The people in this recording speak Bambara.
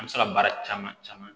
An bɛ se ka baara caman caman